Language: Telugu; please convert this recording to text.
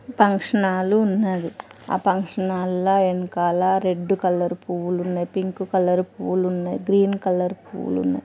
పంక్షన్ హాల్ ఉన్నది. ఆ పంక్షనాళ్ ల ఎన్కాల రెడ్డు కలర్ పువ్వులున్నయి. పింక్ కలర్ పువులున్నయి. Green colour పువులున్నయి.